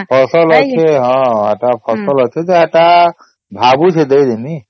ଫସଲ ଅଛେ ହଁ ଯେ ଫସଲ ଅଛେ ହେଟା ଭାବୁଛେ ଦେଇ ଦେବୀ